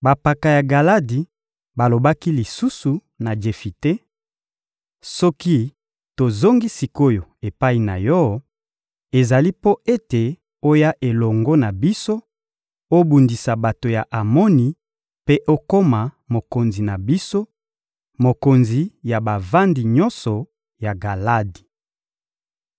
Bampaka ya Galadi balobaki lisusu na Jefite: — Soki tozongi sik’oyo epai na yo, ezali mpo ete oya elongo na biso, obundisa bato ya Amoni mpe okoma mokonzi na biso, mokonzi ya bavandi nyonso ya Galadi.